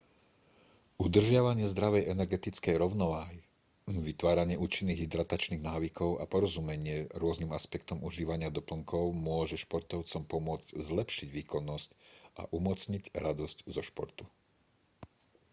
udržiavanie zdravej energetickej rovnováhy vytváranie účinných hydratačných návykov a porozumenie rôznym aspektom užívania doplnkov môže športovcom pomôcť zlepšiť výkonnosť a umocniť radosť zo športu